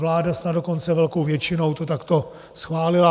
Vláda snad dokonce velkou většinou to takto schválila.